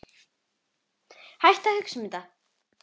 Hættu að hugsa um þetta.